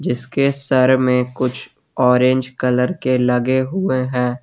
इसके सर में कुछ ऑरेंज कलर के लगे हुए हैं।